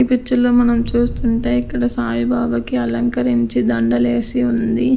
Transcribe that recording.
ఈ పిక్చర్ లో మనం చూస్తుంటే ఇక్కడ సాయిబాబా కి అలంకరించి దండలేసి ఉంది.